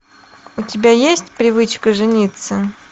у тебя есть привычка жениться